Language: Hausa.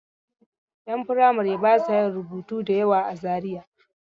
Ƴan firamare ba sa yin rubutu da yawa a Zariya.